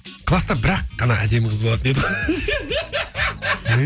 класта бір ақ қана әдемі қыз болатын еді ғой